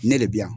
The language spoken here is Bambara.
Ne de bi yan